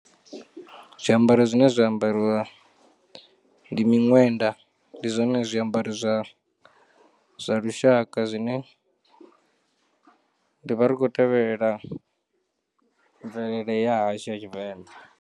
Zwiambaro zwine zwa ambarwa ndi miṅwenda ndi zwone zwiambaro zwa zwa lushaka zwine ndi vha ri kho tevhelela mvelele ya hashu ya tshivenḓa.